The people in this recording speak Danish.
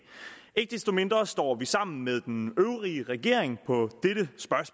ikke desto mindre står vi sammen med den øvrige regering